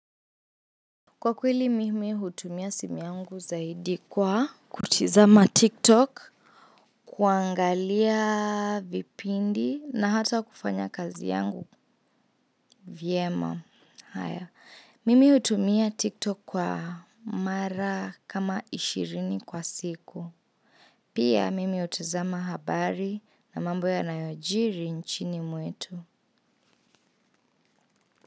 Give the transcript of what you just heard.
Kwa kweli mimi utumia simu yangu zaidi kwa kutizama tiktok, kuangalia vipindi na hata kufanya kazi yangu vyema. Mimi utumia tiktok kwa mara kama ishirini kwa siku. Pia mimi utizama habari na mambo yanayojiri nchini mwetu.